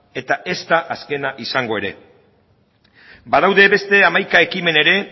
eta ez da azkena izango ere badaude beste hamaika ekimen ere